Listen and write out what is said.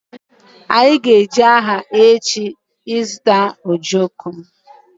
Anyị ga-eje ahịa echi ịzụta ojoko